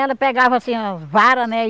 Ela pegava assim a vara, né?